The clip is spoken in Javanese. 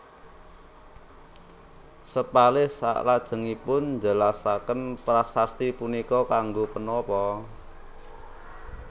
Sepalih salajengipun njelasaken prasasti punika kanggo punapa